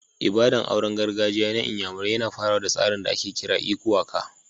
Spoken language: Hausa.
Ibada'n auren gargajiya na n'yamarai na farawa da tsarin da ake kira "lku aka."